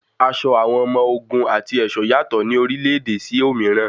Aṣọ àwọn ọmọ ogun àti ẹ̀ṣọ́ yàtọ̀ ní orílẹ̀-ẹ̀dẹ̀ sí òmíràn.